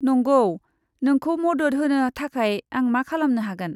नंगौ। नोंखौ मदद होनो थाखाय आं मा खालामनो हागोन?